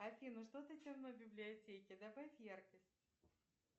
афина что то темно в библиотеке добавь яркость